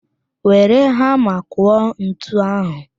Were hama kụọ ntu ahụ